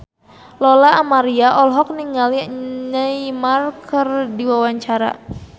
Lola Amaria olohok ningali Neymar keur diwawancara